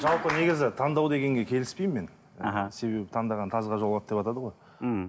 жалпы негізі таңдау дегенге келіспеймін мен іхі себебі таңдаған тазға жолығады деватады ғой мхм